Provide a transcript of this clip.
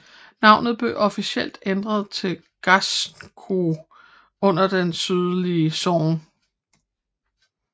Navnet blev officielt ændret til Ganzhou under Det sydlige Song